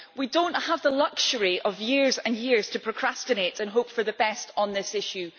We do not have the luxury of years and years to procrastinate and hope for the best on this issue.